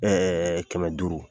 kɛmɛ duuru